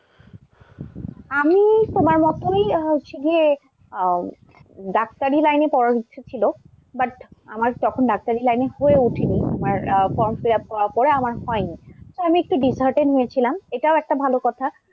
আমি তোমার মতই হচ্ছে গিয়ে আহ ডাক্তারি line এ পড়ার ইচ্ছে ছিল but আমার তখন ডাক্তারি line এ হয়ে ওঠেনি আমার form fill up করার পড়ে আমার হয়নি। তো আমি একটু dishearten হয়েছিলাম। এটাও একটা ভাল কথা।